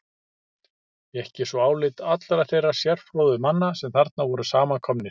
Fékk ég svo álit allra þeirra sérfróðu manna, sem þarna voru samankomnir.